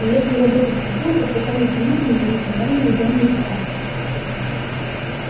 и если работать вслепую то в таком механизме мы никогда не найдём неисправности